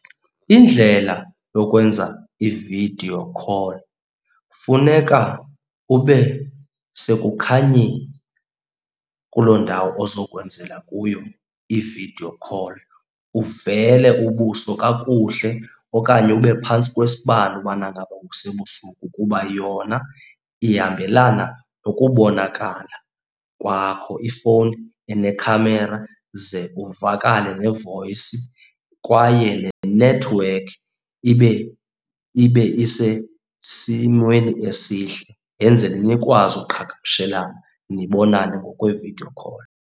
Indlela yokwenza i-video call, funeka ube sekukhanyeni kuloo ndawo ozokwenzela kuyo i-video call. Uvele ubuso kakuhle okanye ube phantsi kwesibane ubana ngaba kusebusuku kuba yona ihambelana nokubonakala kwakho, ifowuni enekhamera ze uvakale ne-voice. Kwaye nenethiwekhi ibe ibe isesimweni esihle yenzele nikwazi uqhagamshelana nibonane ngokwe-video call.